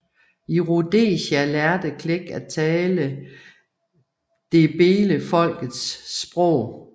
I Rhodesia lærte Clegg at tale ndebelefolkets sprog